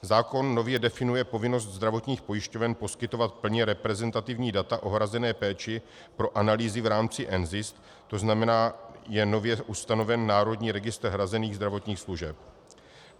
Zákon nově definuje povinnost zdravotních pojišťoven poskytovat plně reprezentativní data o hrazené péči pro analýzy v rámci NZIS, to znamená, je nově ustaven Národní registr hrazených zdravotních služeb.